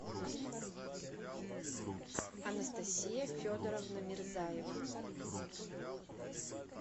анастасия федоровна мирзаева